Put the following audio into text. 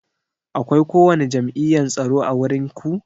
Akwai ko wani jam'iyyan tsaro ã wurin ku?